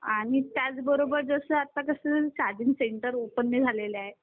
आणि त्याचबरोबर जसं आता कसं चार्जिंग सेंटर ओपन नाही झालेले आहेत